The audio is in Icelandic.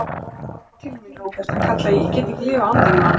Hann kallaði til mín, Róbert, hann kallaði: Ég get ekki lifað án þín, mamma.